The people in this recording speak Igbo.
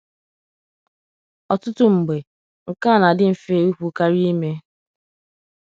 Ọtụtụ mgbe, nke a na-adị mfe ikwu karịa ime.